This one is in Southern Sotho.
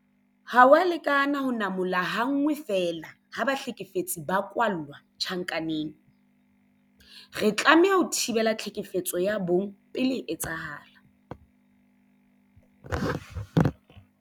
Ha ho a lekana ho namola ha nngwe feela ha bahlekefetsi ba kwalla tjhankaneng. Re tlameha ho thibela tlhekefetso ya bong pele e etsahala.